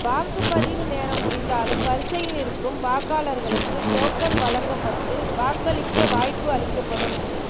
வாக்குப்பதிவு நேரம் முடிந்தாலும் வரிசையில் நிற்கும் வாக்காளர்களுக்கு டோக்கன் வழங்கப்பட்டு வாக்களிக்க வாய்ப்பு அளிக்கப்படும்